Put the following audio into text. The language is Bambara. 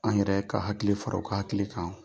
An yɛrɛ ka hakili fara u ka hakili kan.